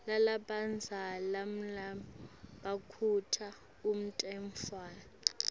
lalabadzala nmabakhuta umntfwana